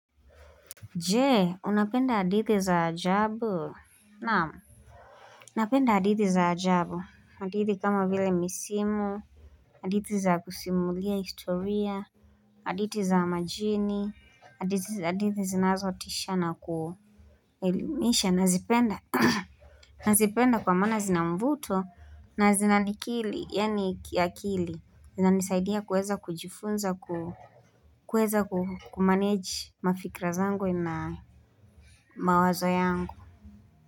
Je? Unapenda hadithi za ajabu naam. Napenda hadithi za ajabu hadithi kama vile misimu hadithi za kusimulia historia hadithi za majini hadithi zinazotisha na ku elimisha nazipenda, nazipenda kwa maana zina mvuto na zinanikili yaani kiakili zinanisaidia kuweza kujifunza kuweza kumanage mafikra zangu na mawazo yangu.